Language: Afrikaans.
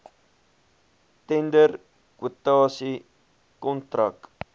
tender kwotasie kontrak